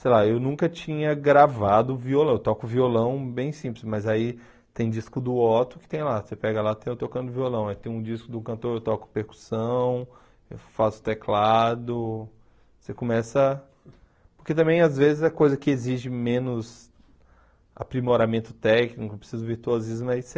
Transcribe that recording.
Sei lá, eu nunca tinha gravado violão, eu toco violão bem simples, mas aí tem disco do Otto que tem lá, você pega lá, tem eu tocando violão, aí tem um disco do cantor, eu toco percussão, eu faço teclado, você começa... Porque também, às vezes, a coisa que exige menos aprimoramento técnico, precisa do virtuosismo, aí você...